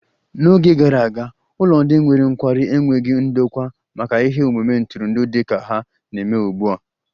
N'Oge gara aga, ụlọ ndị nwere nkwarụ enweghị ndokwa maka ihe omume ntụrụndụ dị ka ha na-eme ugbu a